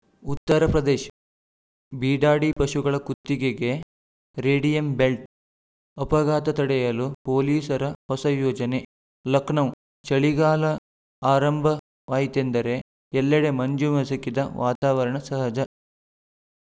ಉತ್ತರಪ್ರದೇಶ್ ಬೀಡಾಡಿ ಪಶುಗಳ ಕುತ್ತಿಗೆಗೆ ರೇಡಿಯಂ ಬೆಲ್ಟ್‌ ಅಪಘಾತ ತಡೆಯಲು ಪೊಲೀಸರ ಹೊಸ ಯೋಜನೆ ಲಖನೌ ಚಳಿಗಾಲ ಆರಂಭವಾಯಿತೆಂದರೆ ಎಲ್ಲೆಡೆ ಮಂಜು ಮಸುಕಿದ ವಾತಾವರಣ ಸಹಜ